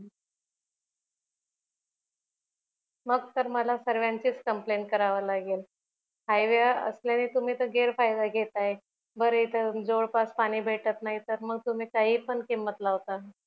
मग तर मला सर्वांचीच complaint कराव लागेल हायवे असल्याने तुम्ही तर गैर फायदा घेताय बर इथ जवळ पास पाणी भेटत नाही तर मग तुम्ही काही पण किंमत लावतान